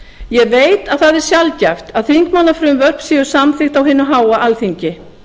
ég veit að það er sjaldgæft að þingmannafrumvörp séu samþykkt á hinu háa alþingi